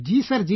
Ji sir